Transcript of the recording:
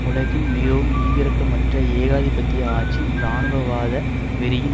உலகின் மிகவும் ஈவிரக்கமற்ற ஏகாதிபத்திய ஆட்சியின் இராணுவவாத வெறியின்